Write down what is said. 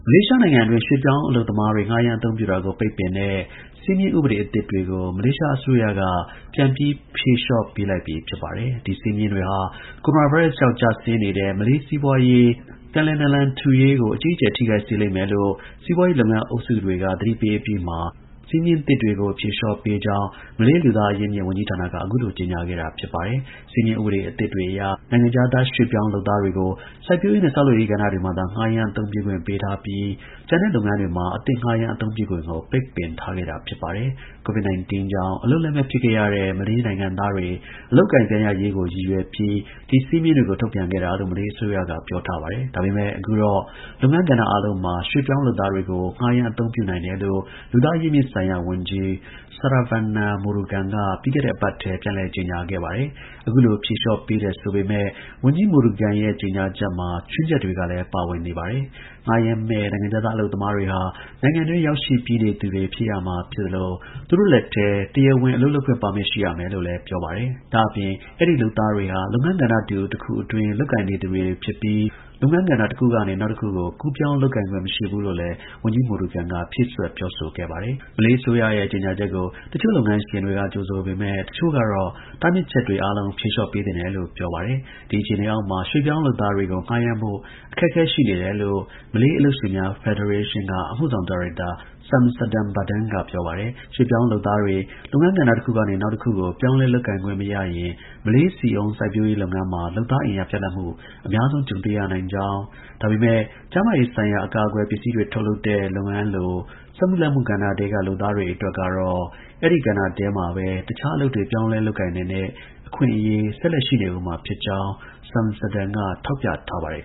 လေးရှားနိုင်ငံအတွင်း ရွှေ့ပြောင်းအလုပ်သမားတွေ ငှားရမ်း အသုံးပြုတာကို ပိတ်ပင်တဲ့ စည်းမျဉ်း ဥပဒေ အသစ်တွေကို မလေးရှား အစိုးရက ပြန်ပြီး ဖြေလျှော့ပေးလိုက်ပြီ ဖြစ်ပါတယ်။ ဒီ စည်းမျဉ်းတွေဟာ ကိုရိုနာဗိုင်းရပ်စ်ကြောင့် ကျဆင်းနေတဲ့ မလေးစီးပွားရေး ကို ပြန်လည် နာလန်ထူရေးကို အကြီးအကျယ် ထိခိုက်စေလိမ့်မယ်လို့ စီးပွားရေး လုပ်ငန်းအုပ်စုတွေက သတိပေးအပြီးမှာ အခုလို စည်းမျဉ်းသစ်တွေကို ဖြေလျှော့ပေးကြောင်း မလေး လူသား အရင်းအမြစ် ဝန်ကြီးဌာနက ကြေညာခဲ့တာ ဖြစ်ပါတယ်။ စည်းမျဉ်းဥပဒေအသစ်တွေအရ နိုင်ငံခြားသား ရွှေ့ပြောင်းလုပ်သားတွေကို စိုက်ပျိုးရေးနဲ့ ဆောက်လုပ်ရေးကဏ္ဍတွေမှာသာ ငှားရမ်း အသုံးပြုခွင့်ပေးထားပြီး ကျန်တဲ့ လုပ်ငန်းတွေမှာ အသစ်ငှားရမ်း အသုံးပြုခွင့်ကို ပိတ်ပင်ခဲ့တာ ဖြစ်ပါတယ်။ COVID ကြောင့် အလုပ်လက်မဲ့ ဖြစ်ခဲ့ရတဲ့ မလေးနိုင်ငံသားတွေ အလုပ်အကိုင် ပြန်ရရေးကို ရည်ရွယ်ပြီး ဒီ စည်းမျဉ်းတွေကို ထုတ်ပြန်တာ လို့ မလေးအစိုးရက ပြောပါတယ်။ ဒါပေမဲ့ အခုတော့ လုပ်ငန်း ကဏ္ဍအားလုံးမှာ ရွှေ့ပြောင်းလုပ်သားတွေကို ငှားရမ်း အသုံးပြု နိုင်တယ်လို့လူသားအရင်းအမြစ်ဆိုင်ရာ ဝန်ကြီး Saravanan Murugan က ပြီးခဲ့တဲ့ အပတ်ထဲ ပြန်လည် ကြေညာခဲ့ပါတယ်။ အခုလို ဖြေလျှောပေးတယ် ဆိုပေမဲ့ ဝန်ကြီး Murugan ရဲ့ ကြေညာချက်မှာ ခြွင်းချက်တွေကလည်း ပါဝင်နေပါတယ်။ ငှားရမ်းမယ့်နိုင်ငံခြားသား အလုပ်သမားတွေဟာ နိုင်ငံတွင်း ရောက်ရှိပြီးနေသူတွေ ဖြစ်ရမှာ ဖြစ်သလို သူတို့လက်ထဲ တရားဝင် အလုပ်လုပ်ခွင့် ပါမစ် ရှိရမယ်လို့လည်း ပြောပါတယ်။ ဒါ့အပြင် အဲဒီ လုပ်သား တွေဟာ လုပ်ငန်းကဏ္ဍတူတစ်ခုအတွင်း လုပ်ကိုင်နေသူတွေ ဖြစ်ပြီး လုပ်ငန်းကဏ္ဍတစ်ခုကနေ နောက်တစ်ခုကို ကူးပြောင်း လုပ်ကိုင်ခွင့် မရှိဘူးလို့လည်း ဝန်ကြီး Saravanan Murugan ဖြည့်စွက် ပြောထား ပါတယ်။ မလေး အစိုးရရဲ့ ကြေညာချက်ကို တစ်ချို့ လုပ်ငန်းရှင်တွေက ကြိုဆိုပေမဲ့ တစ်ချို့က တားမြစ်ချက်တွေ အားလုံး ဖြေလျှော့ ပေးသင့် တယ်လို့ ပြောပါတယ်။ ဒီ အခြေအနေအောက်မှာ ရွှေ့ပြောင်းလုပ်သားတွေကို ငှားရမ်းဖို့ အခက်အခဲ ရှိနေတယ်လို့ မလေးအလုပ်ရှင်များ ဖက်ဒရေးရှင်းက အမှုဆောင် ဒါရိုက်တာ Shamsuddin Bardan က ပြောပါတယ်။ ရွှေ့ပြောင်းလုပ်သားတွေ လုပ်ငန်း ကဏ္ဍတစ်ခုက နောက်တစ်ခုကို ပြောင်းလဲလုပ်ကိုင်ခွင့် မရရင် မလေး ဆီအုန်း စိုက်ပျိုးရေး လုပ်ငန်းမှာ လုပ်သား အင်အား ပြတ်လပ်မှု အများဆုံး ကြုံတွေ့ရနိုင်ကြောင်း၊ ဒါပေမဲ့ ကျန်းမာရေးဆိုင်ရာ အကာအကွယ် ပစ္စည်းတွေထုတ်လုပ်တဲ့ လုပ်ငန်းလို စက်မှု လက်မှုကဏ္ဍထဲက လုပ်သားတွေ ကတော့ အဲဒီကဏ္ဍထဲမှာပဲ တခြား အလုပ်တွေ ပြောင်းလဲ လုပ်ကိုင်နိုင်တဲ့ အခွင့်အရေး ဆက်လက် ရှိနေဦးမှာ ဖြစ်ကြောင်း Shamsuddin က ထောက်ပြထားပါတယ်